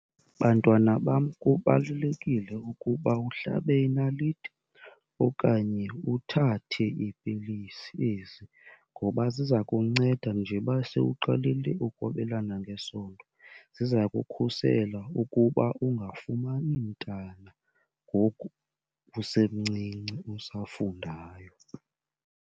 Bantwana bam, kubalulekile ukuba uhlabe inaliti okanye uthathe iipilisi ezi ngoba ziza kunceda njeba sewuqalile ukwabelana ngesondo. Ziza kukhusela ukuba ungafumani mntana ngoku usemncinci usafundayo.